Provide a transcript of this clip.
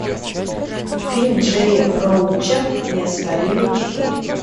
фильм джея роуча неоспоримый четыре